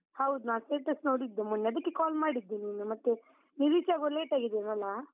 ಹೌದು, ನಾನ್ status ನೋಡಿದ್ದು ಮೊನ್ನೆ, ಅದಕ್ಕೆ call ಮಾಡಿದ್ದು ನಿನ್ನೆ, ಮತ್ತೆ ನೀವು reach ಆಗುವಾಗ late ಆಗಿದ್ಯೇನೋ ಅಲಾ?